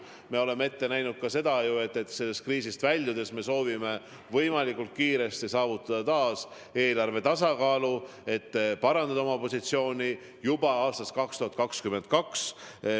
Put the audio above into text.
Me oleme ju öelnud ka seda, et sellest kriisist väljudes me soovime võimalikult kiiresti saavutada taas eelarve tasakaalu, et parandada oma positsiooni juba aastast 2022.